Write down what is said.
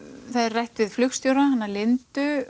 það er rætt við flugstjóra hana Lindu